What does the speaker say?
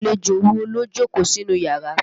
Àlejò wo ló jókòó sínú yàrá?